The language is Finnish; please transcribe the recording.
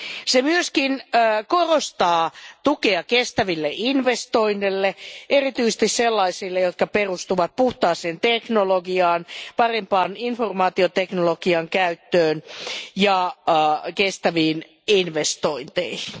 Se myös korostaa tukea kestäville investoinneille, erityisesti sellaisille, jotka perustuvat puhtaaseen teknologiaan, parempaan informaatioteknologian käyttöön ja kestäviin investointeihin.